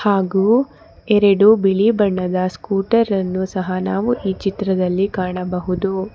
ಹಾಗು ಎರಡು ಬಿಳಿ ಬಣ್ಣದ ಸ್ಕೂಟರ್ ಅನ್ನು ಸಹ ನಾವು ಈ ಚಿತ್ರದಲ್ಲಿ ಕಾಣಬಹುದು.